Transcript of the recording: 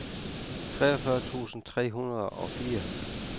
treogfyrre tusind tre hundrede og fire